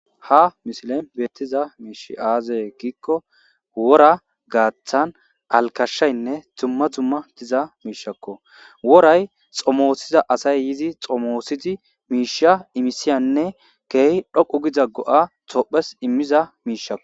ha misilen beettiza miishi aazee giikko wora gaaththan alkashshaynne tumma dumma tiza miishakko woray xomoosiza asay yizi xomoosidi miisha imisiyanne keehi dhoqu giza go7a tophes immiza miishakko